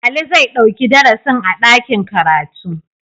Ali zai ɗauki darasin a dakin karatu.